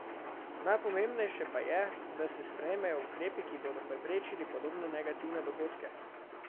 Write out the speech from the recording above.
Najpomembnejše pa je, da se sprejmejo ukrepi, ki bodo preprečili podobne negativne dogodke.